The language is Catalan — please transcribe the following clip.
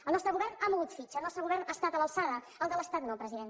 el nostre govern ha mogut fitxa el nostre govern ha estat a l’alçada el de l’estat no president